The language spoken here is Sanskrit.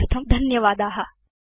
संपर्कार्थं धन्यवादा